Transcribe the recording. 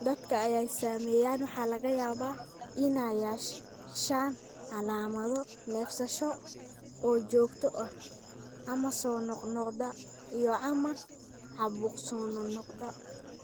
Dadka ay saameeyeen waxaa laga yaabaa inay yeeshaan calaamado neefsasho oo joogto ah ama soo noqnoqda, iyo/ama caabuq soo noqnoqda.